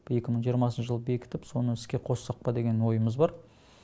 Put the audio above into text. екі мың жиырмасыншы жылы бекітіп соны іске қоссақ па деген ойымыз бар